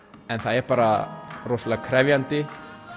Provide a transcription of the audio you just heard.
en það er bara rosalega krefjandi